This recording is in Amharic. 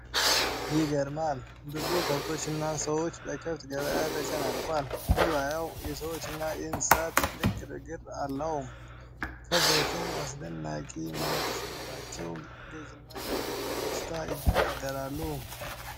ይገርማል! ብዙ ከብቶችና ሰዎች በከብት ገበያ ተጨናንቋል። ገበያው የሰዎችና የእንስሳት ትልቅ ግርግር አለው። ከብቶቹ አስደናቂ መልክ ሲኖራቸው፣ ገዢና ሻጭ በደስታ ይደራደራሉ።